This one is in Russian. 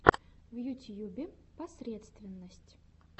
в ютьюбе посредственность